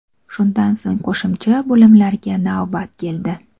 Shundan so‘ng qo‘shimcha bo‘limlarga navbat keldi.